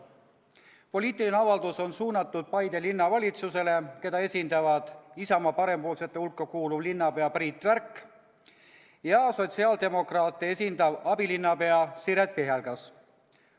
Poliitiline avaldus on suunatud Paide Linnavalitsusele, keda esindavad Isamaa parempoolsete hulka kuuluv linnapea Priit Värk ja sotsiaaldemokraate esindav abilinnapea Siret Pihelgas.